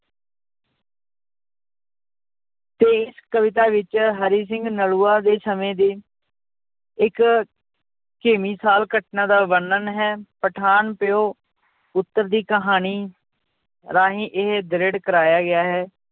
ਤੇ ਇਸ ਕਵਿਤਾ ਵਿੱਚ ਹਰੀ ਸਿੰਘ ਨਲੂਆ ਦੇ ਸਮੇਂ ਦੇ ਇੱਕ ਘਟਨਾ ਦਾ ਵਰਣਨ ਹੈ, ਪਠਾਨ ਪਿਓ ਪੁੱਤਰ ਦੀ ਕਹਾਣੀ ਰਾਹੀਂ ਇਹ ਦ੍ਰਿੜ ਕਰਵਾਇਆ ਗਿਆ ਹੈ,